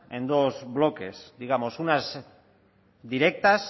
en dos bloques digamos unas directas